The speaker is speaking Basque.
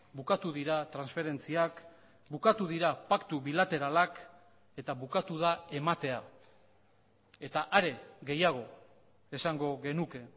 bukatu dira transferentziak bukatu dira paktu bilateralak eta bukatu da ematea eta are gehiago esango genuke